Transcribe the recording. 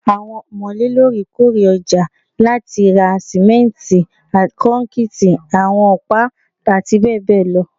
Awọn ọmọle loorekoore ọja lati ra simenti, kọnkiti, awọn ọpa, ati bẹbẹ lọ